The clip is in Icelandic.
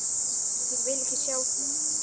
Ég vil ekki sjá þig!